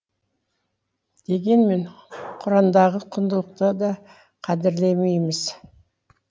дегенмен құрандағы құндылықты да қадірлемейміз